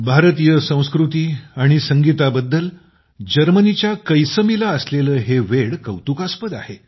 भारतीय संस्कृती आणि संगीताबद्दल जर्मनीच्या कैसमीला असलेले हे वेड कौतुकास्पद आहे